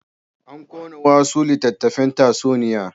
An ƙona wasu littattafan tatsuniya.